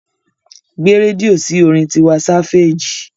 Gbé rédíò sí orin Tiwa Sáféèjì.